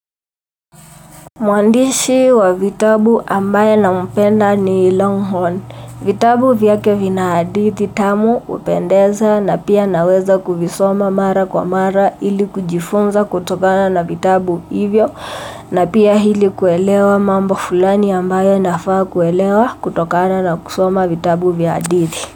Mwandishi wa vitabu ambaye na mpenda ni longhorn. Vitabu vyake vina hadithi tamu hupendeza na pia naweza kuvisoma mara kwa mara ili kujifunza kutokana na vitabu hivyo na pia ili kuelewa mambo fulani ambaye nafaa kuelewa kutokana na kusoma vitabu vya hadithi.